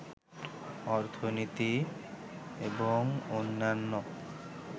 অর্থনীতি এবং অন্যান্য